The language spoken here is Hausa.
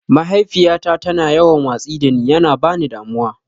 Mahaifiyyata ta na yawan watsi da ne, ya na ba ni damuwa.